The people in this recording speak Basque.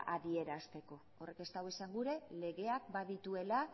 adierazteko horrek ez du esan gura legeak badituela